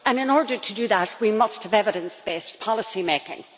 In order to do that we must have evidence based policymaking.